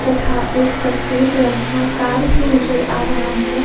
था एक सफेद रंग का कार भी नजर आ रहा है।